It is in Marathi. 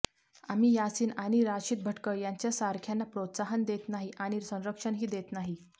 आम्ही यासीन आणि राशिद भटकळ यांच्या सारख्यांना प्रोत्साहन देत नाही आणि संरक्षणही देत नाही